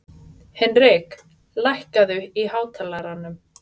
Hinrik, lækkaðu í hátalaranum.